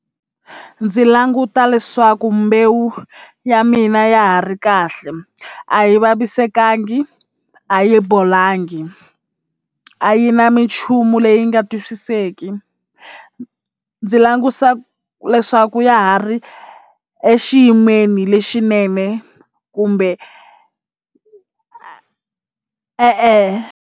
Ndzi languta leswaku mbewu ya mina ya ha ri kahle a yi vavisekangi a yi bolangi a yi na minchumu leyi nga twisiseki ndzi langusa leswaku ya ha ri exiyimeni lexinene kumbe e-e.